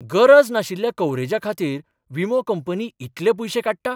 गरज नाशिल्ल्या कव्हरेजा खातीर विमो कंपनी इतले पयशे काडटा?